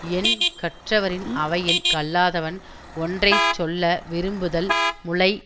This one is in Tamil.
எண் கற்றவரின் அவையில் கல்லாதவன் ஒன்றை சொல்ல விரும்புதல் முலை